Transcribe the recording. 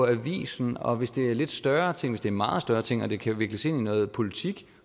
i avisen og hvis det er en lidt større ting hvis det meget større ting og det kan vikles ind i noget politik